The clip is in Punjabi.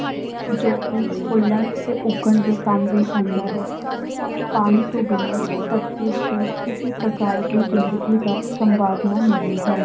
ਜੋ ਕਿ ਫੁੱਲਣ ਤੇ ਉੱਗਣ ਦੇ ਕੰਮ ਵੀ ਆਉਂਦਾ ਹੈ ਪਾਣੀ ਤੋਂ ਬਿਨਾਂ ਧਰਤੀ ਉੱਤੇ ਕਿਸੇ ਪ੍ਰਕਾਰ ਦੀ ਜ਼ਿੰਦਗੀ ਦਾ ਸੰਭਾਵਨਾ ਨਹੀਂ ਹੈ।